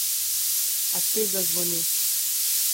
A spet zazvoni.